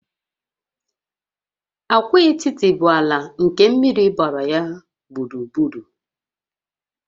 Agwaetiti bụ ala nke mmiri gbara ya gburugburu